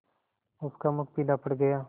उसका मुख पीला पड़ गया